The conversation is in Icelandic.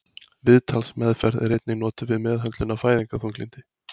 Viðtalsmeðferð er einnig notuð við meðhöndlun á fæðingarþunglyndi.